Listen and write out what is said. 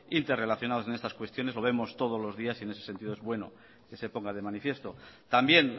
interrelacionados en estas cuestiones lo vemos todos los días y en este sentido es bueno que se ponga de manifiesto también